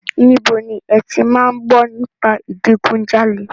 Níbo ni ẹ ti máa ń gbọ́ nípa ìdigunjalè?